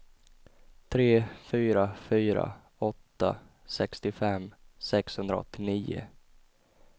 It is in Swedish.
tre fyra fyra åtta sextiofem sexhundraåttionio